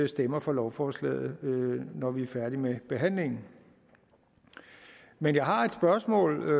stemmer for lovforslaget når vi er færdige med behandlingen men jeg har et spørgsmål